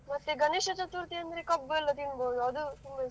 ಮತ್ತೆ ಗಣೇಶ ಚತುರ್ಥಿ ಅಂದರೆ ಕಬ್ಬು ಎಲ್ಲ ತಿನ್ನಬಹುದು ಅದು ತುಂಬಾ ಇಷ್ಟ.